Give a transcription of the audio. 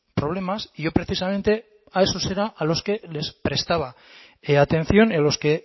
problemas y yo precisamente a esos era a los que les prestaba atención en los que